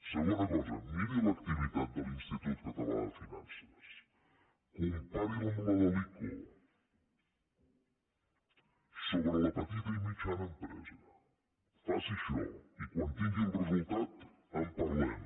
segona cosa miri l’activitat de l’institut català de finances compari la amb la de l’ico sobre la petita i mitjana empresa faci això i quan tingui el resultat en parlem